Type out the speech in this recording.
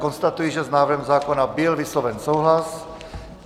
Konstatuji, že s návrhem zákona byl vysloven souhlas.